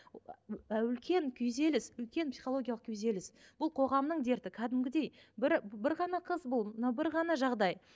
үлкен күйзеліс үлкен психологиялық күйзеліс бұл қоғамның дерті кәдімгідей бір бір ғана қыз бұл мынау бір ғана жағдай